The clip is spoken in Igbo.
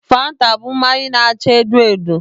Fanta bụ mmanya na-acha edo edo.